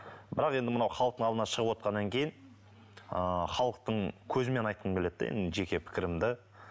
бірақ енді мынау халықтың алдына шығып отырғаннан кейін ы халықтың көзімен айтқым келеді де енді жеке пікірім де